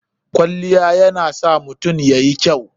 Kwaliya yana sa mutum yayi kyau.